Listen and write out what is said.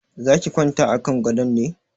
Za ki kwanta a kan gadon ne?